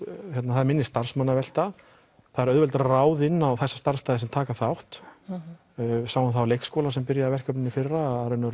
það er minni starfsmannavelta það er auðveldara að ráða inn á þessa starfsstaði sem taka þátt við sáum það á leikskóla sem byrjaði í verkefninu í fyrra